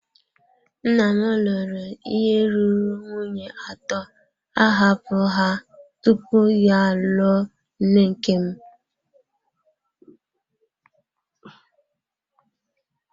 Nna m lụrụ ihe ruru nwunye atọ, ahapụ ha tupu ya alụọ nne nke m.